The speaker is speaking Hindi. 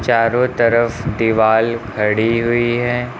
चारों तरफ दीवाल खड़ी हुई है।